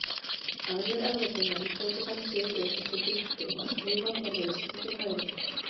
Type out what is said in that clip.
Aðrir Evrópumenn tóku þann sið upp eftir Grikkjum að skrifa frá vinstri til hægri.